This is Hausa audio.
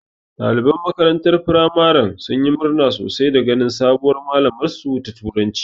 Ɗaliban makarantar firamaren sun yi murna sosai da ganin sabuwar malamar su ta turanci